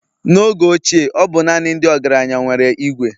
n'oge ochie ọ bụ naanị ndị ọgaranya nwere Ìgwè